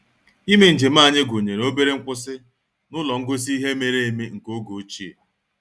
Ime njem anyị gụnyere obere nkwụsị n'ụlọ ngosi ihe mere eme nke oge ochie